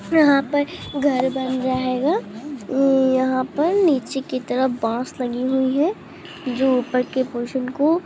यहाँ पर घर बन रहेगा हम्म यहाँ पर नीचे के तरफ बाश लगी हुई है जो ऊपर के पोर्सन को--